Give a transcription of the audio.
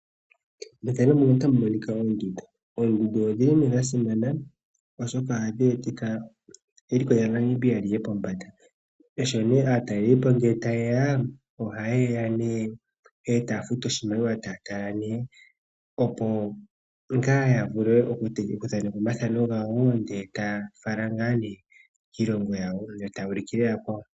Oondundu odhili dha simana oshoka ohadhi etitha eliko lyaNamibia liye pombanda. Sho nee aatalelipo tayeya, ohayeya nee etaa futu oshimaliwa opo yatale, opo ngaa yavule oku thaneka omathano gawo ndee taafala ngaa nee kiilongo yawo e tayuu lukile yakwawo.